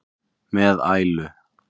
með ælu.